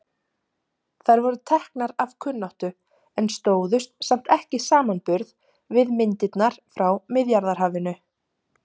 Þær voru teknar af kunnáttu en stóðust samt ekki samanburð við myndirnar frá Miðjarðarhafinu.